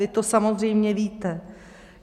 Vy to samozřejmě víte.